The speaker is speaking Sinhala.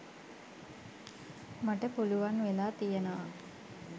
මට පුළුවන් වෙලා තියෙනවා